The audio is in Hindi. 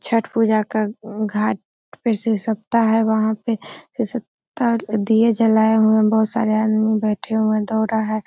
छट पूजा का घाट फिरसे सप्ता है | वहां पे दिए जलाये हुए है | बोहोत सारे आदमी बैठे हुए हैं दौड़ रहा --